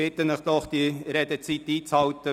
Ich bitte Sie, die Redezeiten einzuhalten.